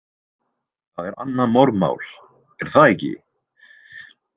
Það er annað morðmál, er það ekki?